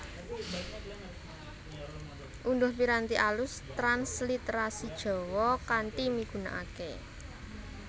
Undhuh piranti alus transliterasijawa kanthi migunakaké